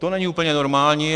To není úplně normální.